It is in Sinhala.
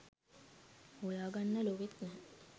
හොයාගන්න ලොවෙත් නෑ